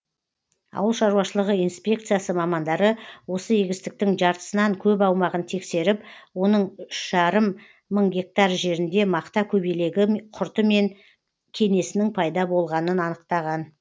ауыл шаруашылығы инспекциясы мамандары осы егістіктің жартысынан көп аумағын тексеріп оның үш жарым мың гектар жерінде мақта көбелегі құрты мен кенесінің пайда болғанын анықтаған